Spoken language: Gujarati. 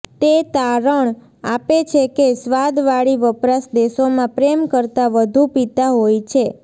તે તારણ આપે છે કે સ્વાદવાળી વપરાશ દેશોમાં પ્રેમ કરતાં વધુ પીતા હોય છે